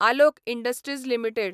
Alok industries limited